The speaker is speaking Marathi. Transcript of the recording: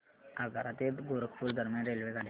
आग्रा ते गोरखपुर दरम्यान रेल्वेगाड्या